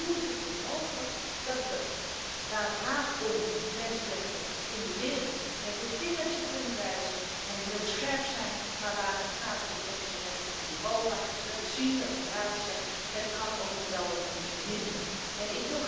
Want hoe is het toch mogelijk dat we, waar het gaat om de mensenrechten in de wereld, met het vingertje kunnen wijzen en heel scherp zijn, maar daar, waar het gaat om de mensenrechten in Europa, door de Raad wordt gezegd dat het best wel een onsje minder kan.